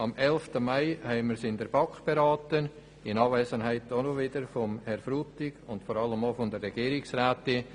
Am 11. Mai haben wir es in der BaK beraten in Anwesenheit von Herrn Frutig und der Regierungsrätin.